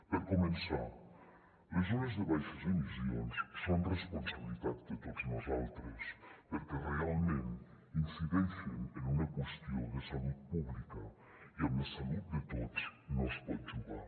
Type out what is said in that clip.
per començar les zones de baixes emissions són responsabilitat de tots nosaltres perquè realment incideixen en una qüestió de salut pública i amb la salut de tots no es pot jugar